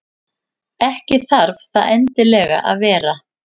Ekki þarf það endilega að vera.